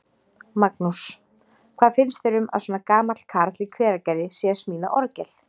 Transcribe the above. Magnús: Hvað finnst þér um að svona gamall karl í Hveragerði sé að smíða orgel?